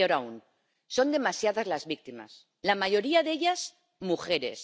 Y peor aún, son demasiadas las víctimas, la mayoría de ellas mujeres.